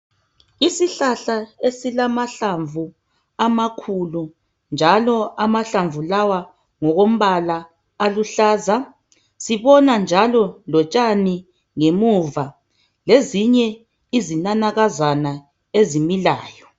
Isihlahla ezilamahlamvu amakhulu, njalo amahlamvu lawa ngokombala aluhlaza. Sibona njalo lotshani ngemuva lezinye izinanakazana ezimilayo